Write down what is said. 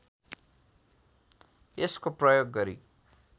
यसको प्रयोग गरी